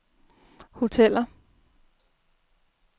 hoteller